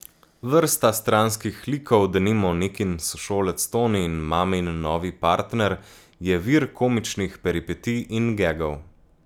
Vrsta stranskih likov, denimo Nikin sošolec Toni in mamin novi partner, je vir komičnih peripetij in gegov.